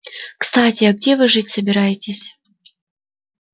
кстати а где вы жить собираетесь